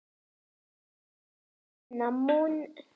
Sabína, mun rigna í dag?